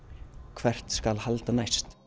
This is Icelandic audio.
hvert skal halda næst